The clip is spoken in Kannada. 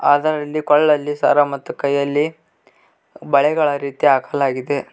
ಅದರಲ್ಲಿ ಕೊರಳಲ್ಲಿ ಸರ ಮತ್ತು ಕೈಯಲ್ಲಿ ಬಳೆಗಳ ರೀತಿ ಹಾಕಲಾಗಿದೆ.